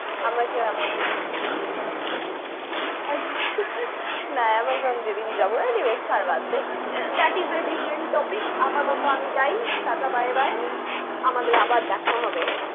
আমরা কি Amazon না Amazon যেদিন যাবো। anyways ছাড় বাদ দে। That is a different topic । আপাতত আমি যাই। Tata bye bye । আমাদের আবার দেখা হবে।